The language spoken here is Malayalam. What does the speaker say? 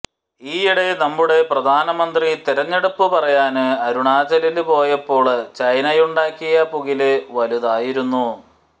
ഈയിടെ നമ്മുടെ പ്രധാനമന്ത്രി തെരഞ്ഞെടുപ്പ് പറയാന് അരുണാചലില് പോയപ്പോള് ചൈനയുണ്ടാക്കിയ പുകില് വലുതായിരുന്നു